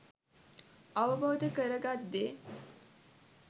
අවබෝධ කරගත් දේ